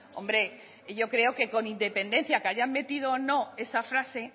yo creo que con independencia que hayan metido o no esa frase